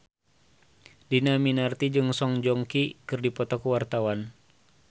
Dhini Aminarti jeung Song Joong Ki keur dipoto ku wartawan